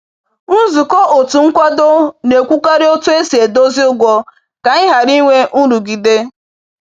Nzukọ otu nkwado na-ekwukarị otu esi edozi ụgwọ ka anyị ghara inwe nrụgide.